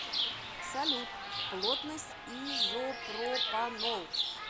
салют плотность изопропанол